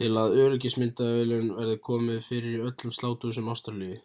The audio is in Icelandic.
til að öryggismyndavélum verði komið fyrir í öllum sláturhúsum ástralíu